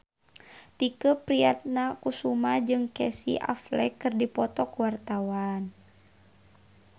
Tike Priatnakusuma jeung Casey Affleck keur dipoto ku wartawan